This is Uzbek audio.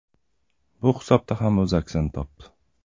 Bu hisobda ham o‘z aksini topdi.